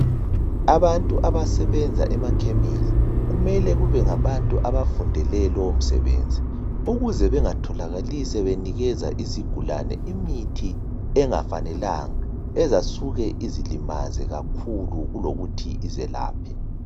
Abantu abasebenza emakhemesi kumele kube ngabantu abafundele lowo msebenzi ukuze bengatholakali sebenikeza isigulane imithi engafanelanga ezasuke izilimaze kakhulu kulokuthi izelaphe.